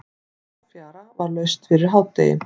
Háfjara var laust fyrir hádegi.